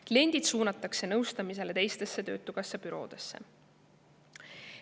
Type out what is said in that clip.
Kliendid suunatakse nõustamisele teistesse töötukassa büroodesse.